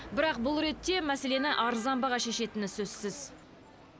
бірақ бұл ретте мәселені арзан баға шешетіні сөзсіз